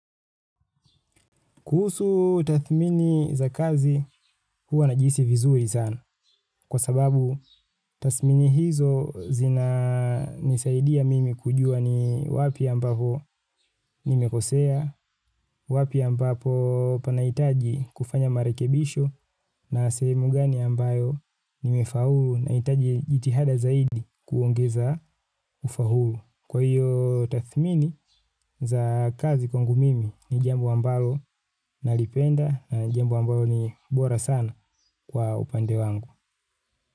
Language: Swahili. Kuhusu tathmini za kazi huwa na jihisi vizuri zana kwa sababu tathmini hizo zinanisaidia mimi kujua ni wapi ambapo nimekosea, wapi ambapo panaitaji kufanya marekebisho na sehemu gani ambayo nimefaulu naitaji jitihada zaidi kuongeza ufaulu. Kwa hiyo tathmini za kazi kwa ngu mimi ni jambo ambalo nalipenda na jambo ambalo ni bora sana kwa upande wangu.